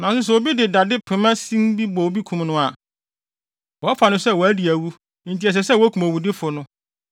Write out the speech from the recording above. “ ‘Nanso sɛ obi de dade pema sin bi bɔ obi kum no a, wɔfa no sɛ wadi awu enti ɛsɛ sɛ wokum owudifo no.